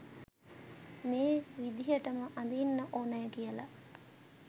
මේ විදිහටම අඳින්න ඕනා කියලා